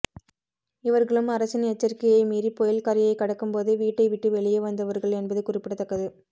இவர்களும் அரசின் எச்சரிக்கையை மீறி புயல் கரையை கடக்கும்போது வீட்டை விட்டு வெளியே வந்தவர்கள் என்பது குறிப்பிடத்தக்கது